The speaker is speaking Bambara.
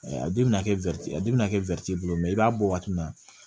A den bɛna kɛ a den bɛna kɛ i b'a bɔ waati min na